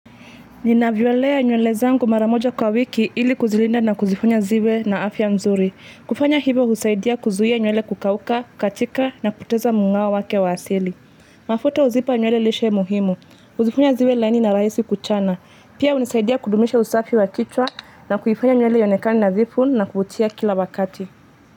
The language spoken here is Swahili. Nina violea nywele zangu maramoja kwa wiki ili kuzilinda na kuzifunya ziwe na afya mzuri. Kufanya hivo husaidia kuzuia nyuele kukauka, kukatika na kupoteza mung'ao wake wa asili. Mafuta huzipa nywele lishe muhimu. Huzifunya ziwe laini na rahisi kuchana. Pia unisaidia kudumisha usafi wa kichwa na kuifanya nywele ionekane nadhifu na kuvutia kila wakati.